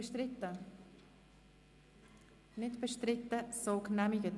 Sie haben dem Artikel 23 mit 120 Ja- gegen 6 Nein-Stimmen bei 2 Enthaltungen zugestimmt.